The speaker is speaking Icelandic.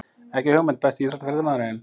Ekki hugmynd Besti íþróttafréttamaðurinn?